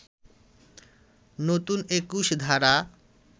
নতুন ২১ ধারা